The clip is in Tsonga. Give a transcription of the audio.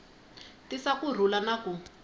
tisa ku rhula na ku